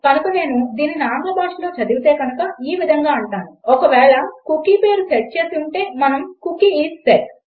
కనుక నేను దీనిని ఆంగ్ల భాషలో చదివితే కనుక నేను ఈ విధంగా అంటాను ఒకవేళ కుకీ పేరు సెట్ చేసి ఉంటే మనం కుకీ ఐఎస్ సెట్